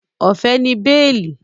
Ọ̀fẹ́ ni béèlì